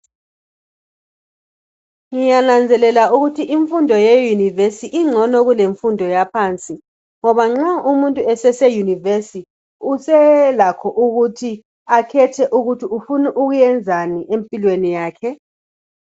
Ngiyananzelela ukuthi imfundo ye univesi ingcono kulemfundo yaphansi ngoba nxa umuntu esese univesi uselakho ukuthi akhethe ukuthi ufuna ukwenzani empilweni yakhe